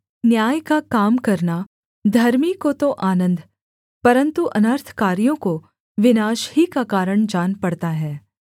न्याय का काम करना धर्मी को तो आनन्द परन्तु अनर्थकारियों को विनाश ही का कारण जान पड़ता है